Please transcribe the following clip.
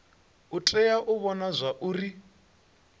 u tea u vhona zwauri